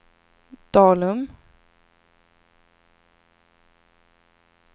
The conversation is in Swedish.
Dalum